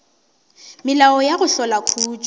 melao ya go hlola khutšo